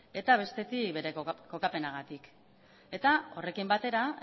eta bestetik bere kokapenagatik eta horrekin batera